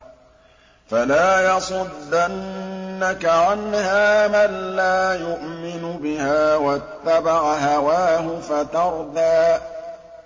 فَلَا يَصُدَّنَّكَ عَنْهَا مَن لَّا يُؤْمِنُ بِهَا وَاتَّبَعَ هَوَاهُ فَتَرْدَىٰ